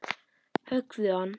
Höggðu hann!